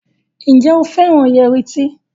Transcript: Njé o féràn Yẹrí tí?